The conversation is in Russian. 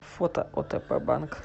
фото отп банк